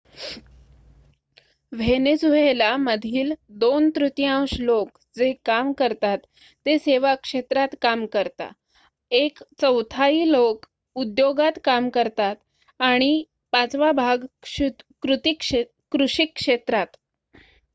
Venezuela मधील 2 तृतीयांश लोक जे काम करतात ते सेवा क्षेत्रात काम करता एक चौथाई लोक उद्योगात काम करतात आणि पाचवा भाग कृषी क्षेत्रात